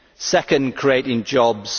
second, creating jobs